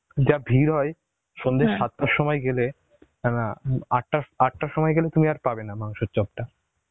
যা ভীর হয় সন্ধ্যা সাতটার সময় গেলে নানা উম আটটার সময় গেলে তুমি আর পাবে না মাংসের চাপটা